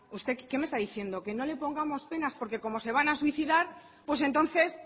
usted qué me está diciendo que no le pongamos penas porque como se van a suicidar pues entonces